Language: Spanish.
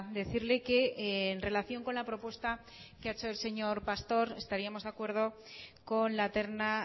decirle que en relación con la propuesta que ha hecho el señor pastor estaríamos de acuerdo con la terna